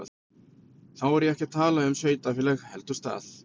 Þá er ég ekki að tala um sveitarfélag heldur stað.